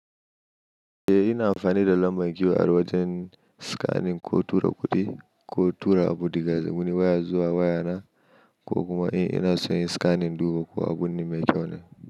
Eh ina amfani da lambar giwa a wajen scanning ko tura kuɗi ko tura abu daga wani waya zuwa waya na ko kuma in ina son yi scanning duba ko abun mai kyau ne.